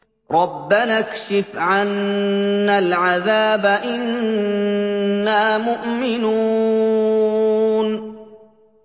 رَّبَّنَا اكْشِفْ عَنَّا الْعَذَابَ إِنَّا مُؤْمِنُونَ